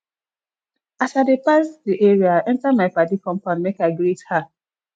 as i dey pass di area enta my paddy compound make i greet her